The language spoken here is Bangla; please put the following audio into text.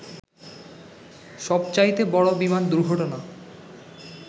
সবচাইতে বড় বিমান দুর্ঘটনা